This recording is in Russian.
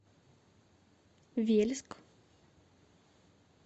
вельск